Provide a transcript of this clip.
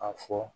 A fɔ